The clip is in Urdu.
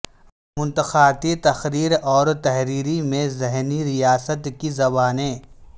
منطقاتی تقریر اور تحریری میں ذہنی ریاست کی زبانیں